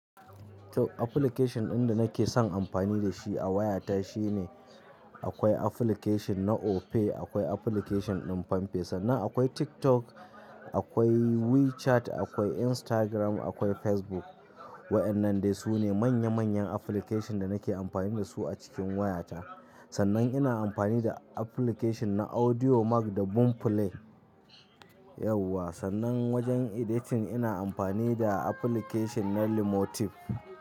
To application ɗin da nake son amfani da shi a wayata shine akwai application na Opay, akwai application din pampay sannan, akwai TikTok, akwai WeChat, akwai Instagram, akwai Facebook. Waɗannan dai su ne manya manyan application da nake amfani da su a cikin wayata. Sannan ina amfani da application na AudioMac da Boomplay. Yauwa, sannan wajen editing ina amfani da application na Lumotif.